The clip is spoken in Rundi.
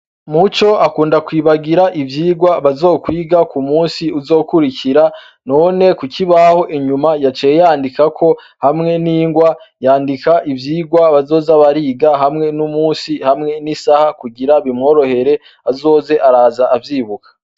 Muco akunda kwibagira ivyirwa bazokwiga ku musi uzokurikira none kuki baho inyuma yaceyandika ko hamwe n'ingwa yandika ivyirwa bazoza bariga hamwe n'umusi hamwe n'isaha kugira bimworohere azoze araza avyibuka.